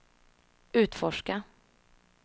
utforska